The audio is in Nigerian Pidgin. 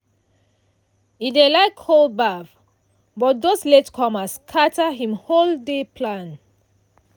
e dey like cold baff but those late comers scatter him whole day plan.